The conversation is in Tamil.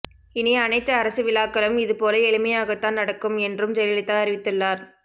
இனி அனைத்து அரசு விழாக்களும் இதுபோல எளிமையாகத்தான் நடக்கும் என்றும் ஜெயலலிதா அறிவித்துள்ளார்